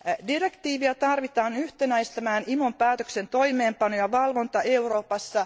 Direktiiviä tarvitaan yhtenäistämään IMOn päätöksen toimeenpano ja valvonta Euroopassa.